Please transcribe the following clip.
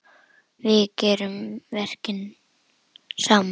Við gerum verkin saman.